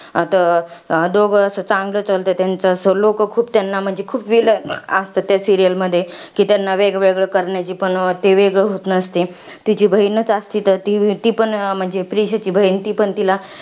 आता, दोघं असं चांगलं चालतं त्याचं. लोकं खूप त्यांना म्हणजे खूप villain असतात त्या serial मध्ये, कि त्यांना वेगवेगळ करण्याची. पण ते वेगळं होत नसते. तिची बहिणच असती, तर ती पण म्हणजे, प्रीशाची बहिण तिला